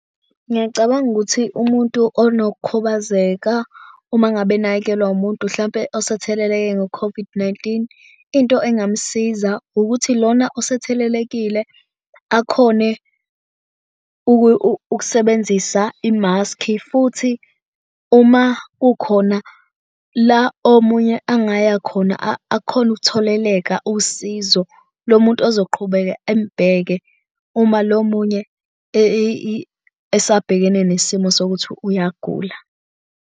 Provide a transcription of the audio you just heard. Ngiyacabanga ukuthi umuntu onokukhubazeka uma ngabe enakekelwa umuntu hlampe osetheleleke ngo-COVID-19, into engamsiza ukuthi lona osethelekile akhone ukusebenzisa i-mask-i futhi uma kukhona la omunye angaya khona akhone ukutholeleka usizo lo muntu ozoqhubeka embeke uma lo munye esabhekene nesimo sokuthi uyagula.